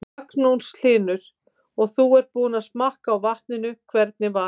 Magnús Hlynur: Og þú ert búinn að smakka á vatninu, hvernig var?